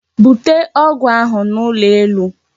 Bute ọgwụ ahụ n'ụlọ elu!